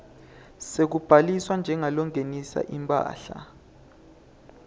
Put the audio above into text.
sekubhaliswa njengalongenisa imphahla